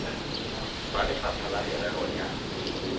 ba lefapha la merero ya